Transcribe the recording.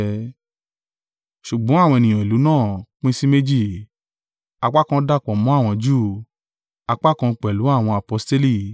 Ṣùgbọ́n àwọn ènìyàn ìlú náà pín sí méjì: apá kan dàpọ̀ mọ́ àwọn Júù, apá kan pẹ̀lú àwọn aposteli.